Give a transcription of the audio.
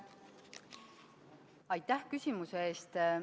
Aitäh küsimuse eest!